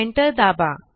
enter दाबा